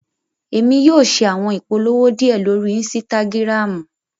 Emi yóò awọn ipolowo diẹ lori ínsìtágirámu